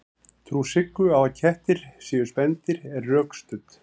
trú siggu á að kettir séu spendýr er rökstudd